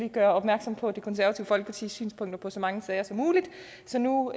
at gøre opmærksom på det konservative folkepartis synspunkter i så mange sager som muligt så nu